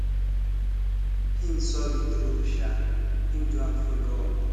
him sorry true um him do am follow up